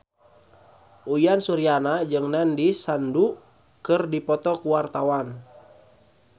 Uyan Suryana jeung Nandish Sandhu keur dipoto ku wartawan